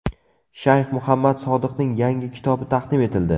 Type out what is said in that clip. Shayx Muhammad Sodiqning yangi kitobi taqdim etildi.